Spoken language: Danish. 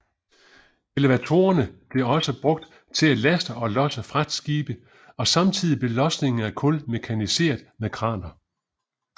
Elevatorerne blev også brugt til at laste og losse fragtskibe og samtidig blev losningen af kul mekaniseret med kraner